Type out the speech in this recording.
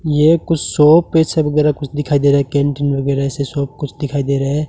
ये कुछ शॉप ऐसा वेगैरा कुछ दिखाई दे रहा हैं। कैंटीन वगैरा ऐसा शॉप कुछ दिखाई दे रहा है।